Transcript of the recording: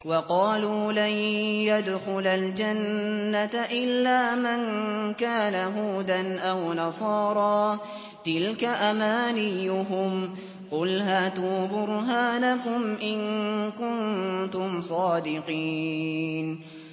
وَقَالُوا لَن يَدْخُلَ الْجَنَّةَ إِلَّا مَن كَانَ هُودًا أَوْ نَصَارَىٰ ۗ تِلْكَ أَمَانِيُّهُمْ ۗ قُلْ هَاتُوا بُرْهَانَكُمْ إِن كُنتُمْ صَادِقِينَ